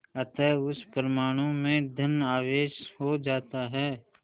अतः उस परमाणु में धन आवेश हो जाता है